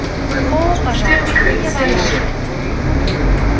о пожалуйста не воображайте